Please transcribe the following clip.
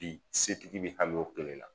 Bi setigi be hami o kelen na